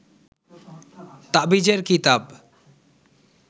তাবিজের কিতাব